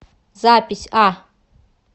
запись а